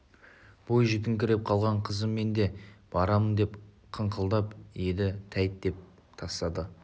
бойжетіңкіреп қалған қызы мен де барамын деп қыңқылдап еді тәйт деп тастады